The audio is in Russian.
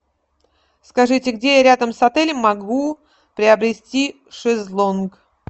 скажите где я рядом с отелем могу приобрести шезлонг